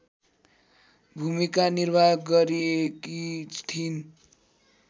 भूमिका निर्वाह गरेकी थिइन्